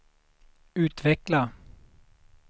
utveckla